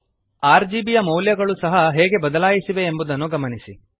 RGB ಯ ಮೌಲ್ಯಗಳು ಸಹ ಹೇಗೆ ಬದಲಾಯಿಸಿವೆ ಎಂಬುದನ್ನು ಗಮನಿಸಿ